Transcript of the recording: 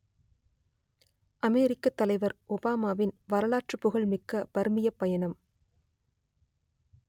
அமெரிக்கத் தலைவர் ஒபாமாவின் வரலாற்றுப் புகழ் மிக்க பர்மியப் பயணம்